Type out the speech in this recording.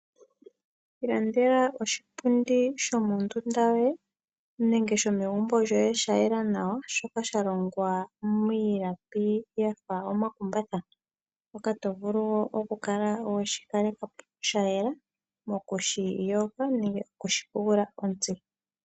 Ilandela oshipundi shomo ndunda yoye nenge shomegumbo lyoye sha yela nawa shoka sha longwa miilapi yafa omakumbatha mpoka to vulu okukala weshi kalekapo sha yela mokushi yoga nenge okushi pushila ontsi.